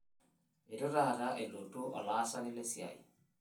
Eitu taata elotu olaasani lesiai.